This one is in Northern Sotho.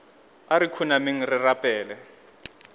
a re khunameng re rapeleng